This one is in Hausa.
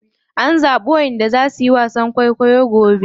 An zaɓi wanda za suyi wasan kwaikwayo gobe.